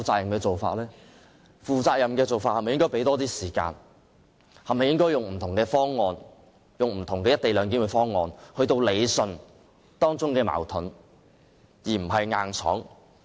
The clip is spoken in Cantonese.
如果採取負責任的做法，是否應該給予更多時間，用不同的"一地兩檢"方案理順當中的矛盾而不是硬闖？